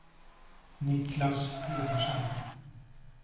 Niclas Pedersen